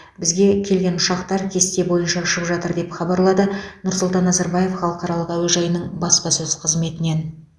бізге келген ұшақтар кесте бойынша ұшып жатыр деп хабарлады нұрсұлтан назарбаев халықаралық әуежайының баспасөз қызметінен